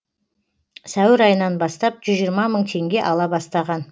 сәуір айынан бастап жүз жиырма мың теңге ала бастаған